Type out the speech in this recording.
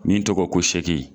Ni tɔgɔ ko